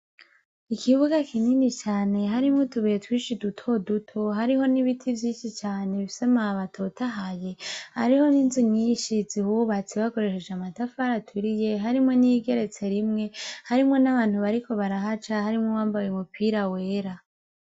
Ikibuga kinini cane harimwo utubuye twinshi duto duto, hariho n'ibiti vyinshi cane bifise amababi atotahaye, hariho n'inzu nyinshi zihubatse bakoresheje amatafari aturiye, harimwo n'iyigeretse rimwe, harimwo n'abantu bariko barahaca harimwo uwambaye umupira wera.